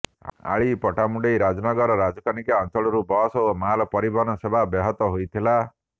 ଆଳି ପଟ୍ଟାମୁଣ୍ଡାଇ ରାଜନଗର ରାଜକନିକା ଅଞ୍ଚଳରୁ ବସ୍ ଓ ମାଲ ପରିବହନ ସେବା ବ୍ୟାହତ ହୋଇଥିଲା